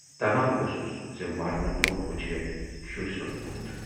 طماہ اوسُس زِ مرنہٕ برونہہ وُچھِ ہے شُرۍ سُند بُتھ۔